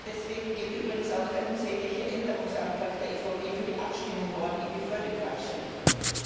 Deswegen geht übrigens auch der unsägliche Änderungsantrag der EVP für die Abstimmung morgen in die völlig falsche Richtung.